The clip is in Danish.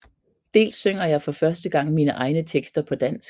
Dels synger jeg for første gang mine egne tekster på dansk